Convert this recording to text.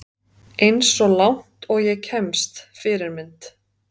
Eins og langt og ég kemst Fyrirmynd?